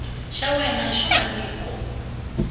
xa wena xo va nyiko